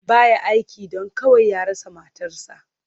Ba ya aiki, don kawai ya rasa matarsa.